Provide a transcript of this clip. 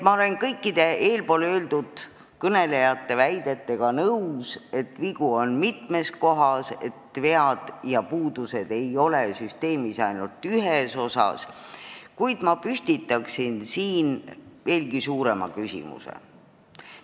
Ma olen kõikide eelkõnelejate väidetega nõus, et vigu on mitmes kohas, vead ja puudused ei ole ainult süsteemi ühes osas, kuid ma püstitaks siin veelgi suurema küsimuse.